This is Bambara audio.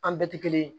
An bɛɛ tɛ kelen ye